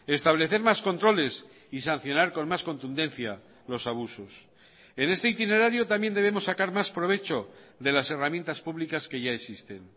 establecer más controles y sancionar con más contundencia los abusos en este itinerario también debemos sacar más provecho de las herramientas públicas que ya existen